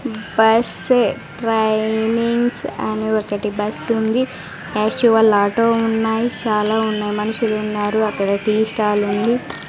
Bus ఏ trainings అని ఒకటి బస్ ఉంది యాక్టువల్ ఆటో ఉన్నాయి చాలా ఉన్నాయి మనుషులు ఉన్నారు అక్కడ టీ స్టాల్ ఉంది.